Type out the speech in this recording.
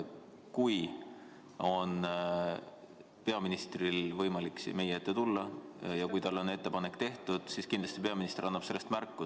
Kui peaministrile on ettepanek tehtud ja tal on võimalik siia meie ette tulla, siis ta kindlasti annab sellest märku.